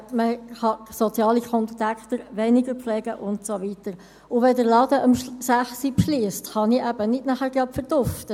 Man kann soziale Kontakte weniger pflegen und so weiter, und wenn der Laden um 10 Uhr schliesst, kann ich eben nachher nicht gleich verduften.